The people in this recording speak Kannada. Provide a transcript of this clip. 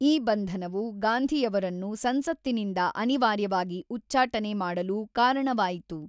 ಈ ಬಂಧನವು ಗಾಂಧಿಯವರನ್ನು ಸಂಸತ್ತಿನಿಂದ ಅನಿವಾರ್ಯವಾಗಿ ಉಚ್ಚಾಟನೆ ಮಾಡಲು ಕಾರಣವಾಯಿತು.